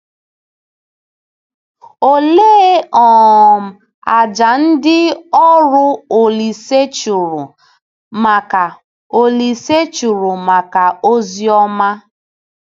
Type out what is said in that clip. Olee um àjà ndị ọrụ Olise chụrụ maka Olise chụrụ maka ozi ọma?